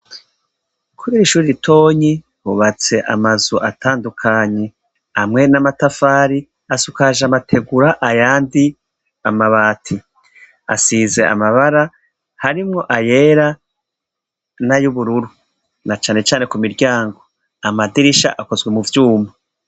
Kubira ishuri ritonyi bubatse amazu atandukanyi amwe n'amatafari asukaje amategura ayandi amabati asize amabara harimwo ayera na youbururu na canecane ku miryango amadirisha akozwe mu vyumba.